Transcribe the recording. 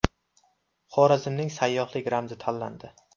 Xorazmning sayyohlik ramzi tanlandi.